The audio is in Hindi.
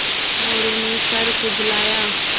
मोरू ने सर खुजलाया